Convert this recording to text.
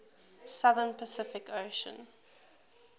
southern pacific ocean